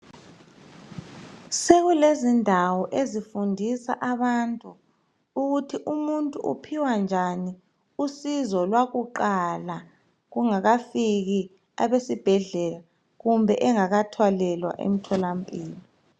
Sekulezindawo lapho ukufundiswa abantu ukuthi umuntu uphiwa njani usizo lwakuqala kungakafiki abesibhedlela kumbe engakathwalelwa emtholamphilo.